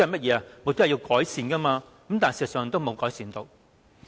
便是要作出改善，但事實上並無改善。